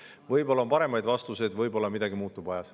Võib-olla on paremaid vastuseid, võib-olla midagi muutub ajas.